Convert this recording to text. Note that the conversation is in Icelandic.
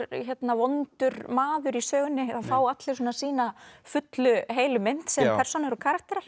vondur maður í sögunni það fá allir sína fullu heilu mynd sem persónur og karakterar